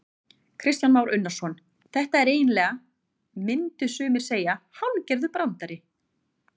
Kristján Már Unnarsson: Þetta er eiginlega, myndu sumir segja hálfgerður brandari?